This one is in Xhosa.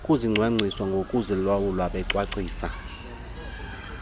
ukuzicwangcisa nokuzilawula becwangcisa